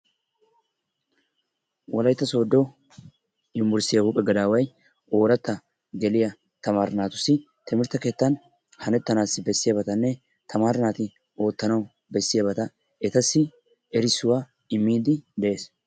Wolaytta sooddo unbberssttiya huuphphe gadaaway ooratta geliya tamaaree naatussi timirtte keettan hanettanaassi bessiyabatanne tamaaree naati ootanawu bessiyaba etassi erissuwa immidi de'ees.